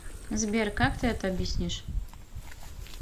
сбер как ты это объяснишь